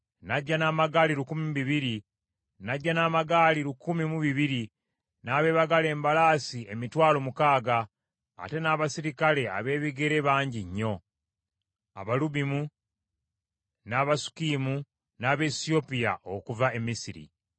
N’ajja n’amagaali lukumi mu bibiri, n’abeebagala embalaasi emitwalo mukaaga, ate n’abaserikale ab’ebigere bangi nnyo: Abalubimu, n’Abasukkiyimu, n’Abaesiyopiya okuva e Misiri.